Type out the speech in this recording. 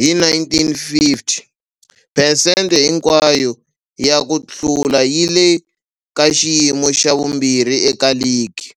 hi, 1950, phesente hinkwayo ya ku hlula yi le ka xiyimo xa vumbirhi eka ligi,